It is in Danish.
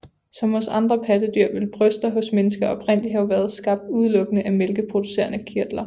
Som hos andre pattedyr ville bryster hos mennesker oprindeligt have været skabt udelukkede af mælkeproducerende kirtler